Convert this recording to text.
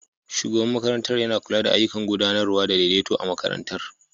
Shugaban makarantar yana kula da ayyukan gudanarwa da daidaito a makarantar